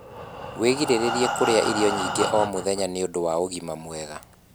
wĩgirĩrĩrie kurĩa irio nyingĩ o mũthenya nĩũndũ wa ũgima mwega